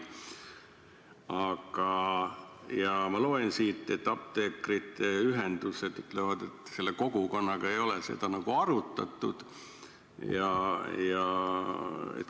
Aga ma loen siit, et apteekrite ühendused ütlevad, et selle kogukonnaga ei ole seda arutatud.